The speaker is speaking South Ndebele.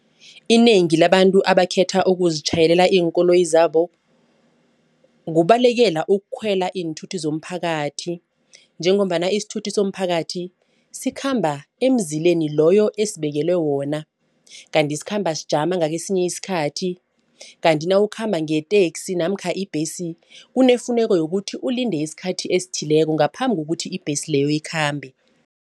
Inengi labantu ebakhetha ukuzitjhayelela iinkoloyi zabo kubalekela ukukhwela iinthuthi zomphakathi. Njengombana isithuthi somphakathi sikhamba emzileni loyo esibekelwe wona. Kanti sikhamba sijame ngakesinye isikhathi. Kanti nawukhamba ngeteksi namkha ibhesi kunefuneka yokuthi ulinde isikhathi esithileko ngaphambi kokuthi ibhesi leyo ikhambe.